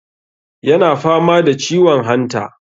yana fama da ciwon hanta